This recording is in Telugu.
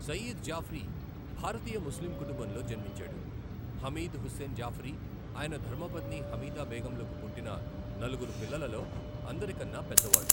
సయీద్ జాఫ్రీ భారతీయ ముస్లిం కుటుంబంలో జన్మించాడు, హమీద్ హుస్సేన్ జాఫ్రీ, ఆయన ధర్మపత్ని హమీదా బేగంలకు పుట్టిన నలుగురు పిల్లలలో అందరికన్నా పెద్దవాడు.